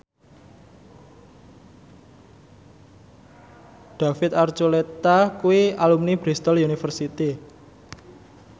David Archuletta kuwi alumni Bristol university